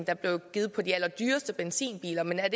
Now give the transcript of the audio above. er blevet givet på de allerdyreste benzinbiler men er